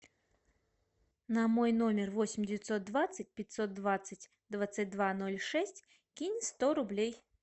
на мой номер восемь девятьсот двадцать пятьсот двадцать двадцать два ноль шесть кинь сто рублей